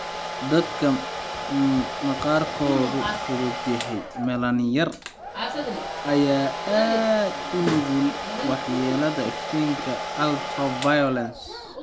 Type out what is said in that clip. Dadka maqaarkoodu fudud yahay (melanin yar) ayaa aad ugu nugul waxyeelada iftiinka UV.